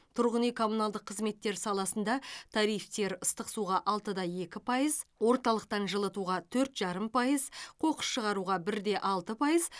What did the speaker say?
тұрғын үй коммуналдық қызметтер саласында тарифтер ыстық суға алты да екі пайыз орталықтын жылытуға төрт жарым пайыз қоқыс шығаруға бір де алты пайыз